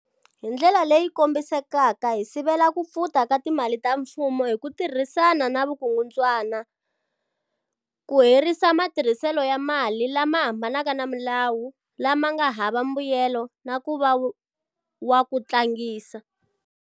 Hindlela leyi kombisekaka hi sivela ku pfuta ka timali ta mfumo hi ku tirhana na vukungundzwana, ku herisa matirhiselo ya mali lama hambanaka na milawu, lawa ma nga hava mbuyelo na ku va wa ku tlangisa.